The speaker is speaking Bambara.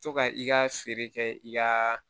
To ka i ka feere kɛ i ka